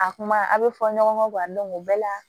A kuma a bɛ fɔ ɲɔgɔn kɔ o bɛɛ la